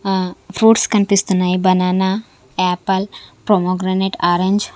ఆ ఫ్రూట్స్ కనిపిస్తున్నాయి banana apple pomegranate orange .